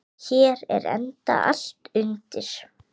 Hér er enda allt undir.